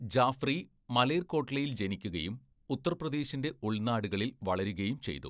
ജാഫ്രി മലേർകോട്ട്ലയിൽ ജനിക്കുകയും ഉത്തർപ്രദേശിൻ്റെ ഉൾനാടുകളിൽ വളരുകയും ചെയ്തു.